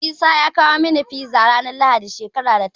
Isa ya kawo min Fiza ranar Lahadi, shekarar da ta wuce.